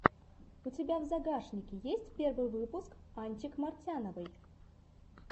у тебя в загашнике есть первый выпуск анчик мартяновой